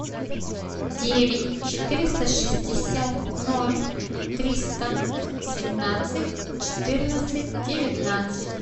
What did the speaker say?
девять четыреста шестьдесят ноль триста семнадцать четырнадцать девятнадцать